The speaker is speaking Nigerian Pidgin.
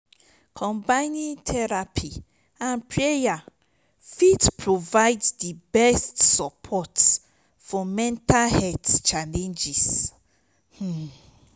combining therapy and prayer fit provide di best support for mental health challenges. um